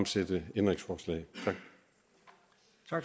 stille ændringsforslag